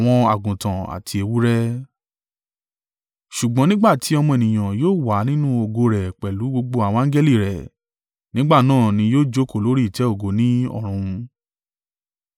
“Ṣùgbọ́n nígbà ti Ọmọ Ènìyàn yóò wá nínú ògo rẹ̀ pẹ̀lú gbogbo àwọn angẹli rẹ̀ nígbà náà ni yóò jókòó lórí ìtẹ́ ògo ní ọ̀run.